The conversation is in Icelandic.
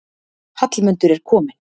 Hallmundur er kominn.